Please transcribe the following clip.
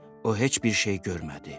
O heç bir şey görmədi.